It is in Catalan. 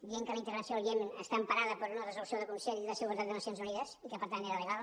deia que la intervenció al iemen està emparada per una resolució del consell de seguretat de nacions unides i que per tant era legal